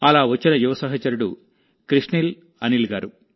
అలా వచ్చిన యువ సహచరుడు కృష్నీల్ అనిల్ గారు